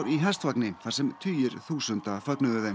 í hestvagni þar sem tugir þúsunda fögnuðu þeim